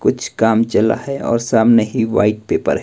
कुछ काम चल रहा है और सामने ही व्हाइट पेपर है।